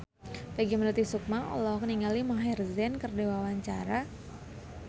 Peggy Melati Sukma olohok ningali Maher Zein keur diwawancara